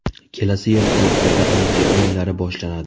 Kelasi yil Tokioda Olimpiya o‘yinlari boshlanadi.